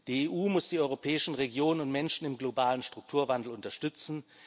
Die EU muss die europäischen Regionen und Menschen im globalen Strukturwandel unterstützen.